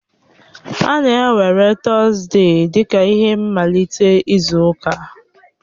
A na-ewere Tọzdee dị ka ihe mmalite izu ụka.